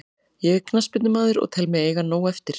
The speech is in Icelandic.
Ég er knattspyrnumaður og tel mig eiga nóg eftir.